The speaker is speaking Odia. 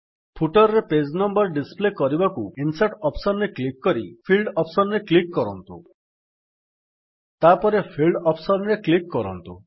ଫୁଟର୍ ରେ ପେଜ୍ ନମ୍ୱର୍ ଡିସପ୍ଲେ କରିବାକୁ ପ୍ରଥମେ ଇନସର୍ଟ ଅପ୍ସନ୍ ରେ କ୍ଲିକ୍ କରି